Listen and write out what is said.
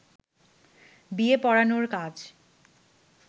বিয়ে পড়ানোর কাজ